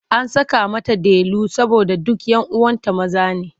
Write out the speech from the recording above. An saka mata Delu saboda duk 'yan uwanta maza ne.